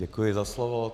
Děkuji za slovo.